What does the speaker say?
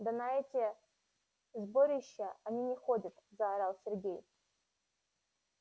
да на эти сборища они не ходят заорал сергей